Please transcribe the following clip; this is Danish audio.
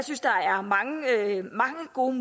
gode